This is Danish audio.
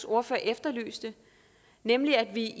ordfører efterlyste nemlig at vi